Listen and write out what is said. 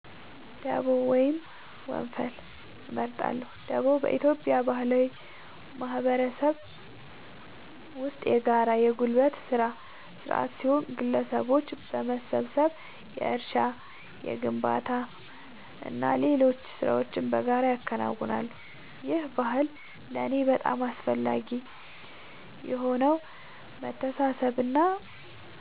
ደቦ ወይም ወንፈል እመርጣለሁ። ደቦ በኢትዮጵያ ባህላዊ ማህበረሰብ ውስጥ የጋራ የጉልበት ሥራ ሥርዓት ሲሆን፣ ግለሰቦች በመሰባሰብ የእርሻ፣ የግንባታና ሌሎች ሥራዎችን በጋራ ያከናውናሉ። ይህ ባህል ለእኔ በጣም አስፈላጊ የሆነው መተሳሰብንና